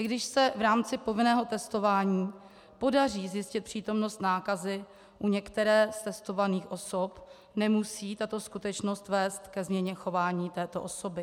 I když se v rámci povinného testování podaří zjistit přítomnost nákazy u některé z testovaných osob, nemusí tato skutečnost vést ke změně chování této osoby.